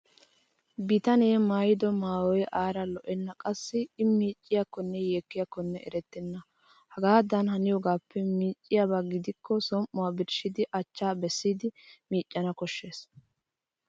Bitanee maayido maayoy aara lo''enna qassi I miicciiyakkonne yeekkiyaakko erettenna. Hagaadan haniyoogaappe miiciyaaba gidikko som'uwaa birshshidi achchaa bessiiddi miicanawu koshshees